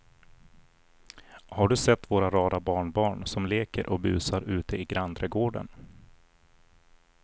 Har du sett våra rara barnbarn som leker och busar ute i grannträdgården!